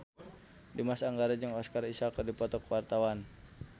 Dimas Anggara jeung Oscar Isaac keur dipoto ku wartawan